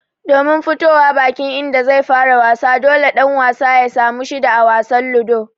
Domin fitowa bakin inda zai fara wasa, dole ɗan wasan ya samu shida a wasan Ludo.